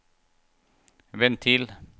ventil